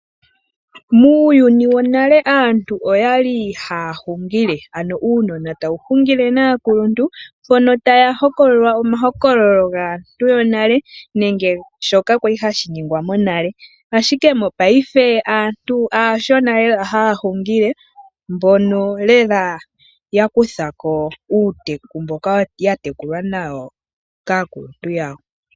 Muuyuni wonale aantu oyali haya hingile ano uunona watu hungile naakuluntu mpono taya hokolola omahokololo gaantu yonale nenge shoka kwali hashiningwa monale ashike mopayife aantu aashona lela haya hungile mbono lela yakuthako uuteku mboka ya tekulwa nawo kaakuluntu yawo.